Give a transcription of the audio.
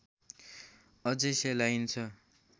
अझै सेलाइन्छ